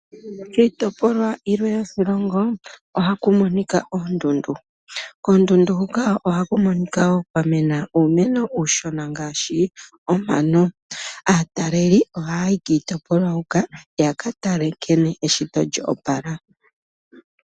Kiitopolwa yilwe yoshilongo ohaku monika oondundu. Koondundu huka ohaku monika wo kwa mena uumeno uushona ngaashi omano. Aataleli ohaa yi kiitopolwa huka ya ka tale nkene eshito lyo opala.